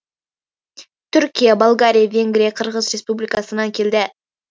түркия болгария венгрия қырғыз республикасынан келді